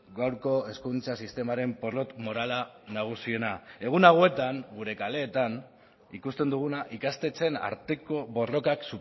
gaurko hezkuntza sistemaren porrot morala nagusiena egun hauetan gure kaleetan ikusten duguna ikastetxeen arteko borrokak